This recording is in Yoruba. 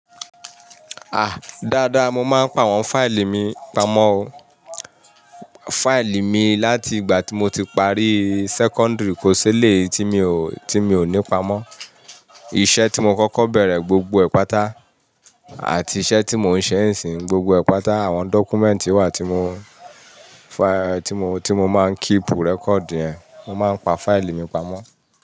À, dáadáa mo máa ń pa àwọn fáìlì mi, pamọ́ fáìlì mi láti ìgbà tí mo ti parí sẹ́kọ́ńdìrì, kò sílé tí mi ò, tí mi ò ní pamọ́. Iṣẹ́ tí mo kọ́kọ́ bẹ̀rẹ̀, gbogbo ẹ̀ pàtà, àti iṣẹ́ tí mò ń ṣe n sín, gbogbo ẹ̀ pàtà àwọn dọ́kúmẹ́ǹtì wà tí mo, fáì-- tí mo, tí mo máa ń kípù rẹ́kọ̀dì ẹ, mo máa ń pa fáìlì mi pamọ́.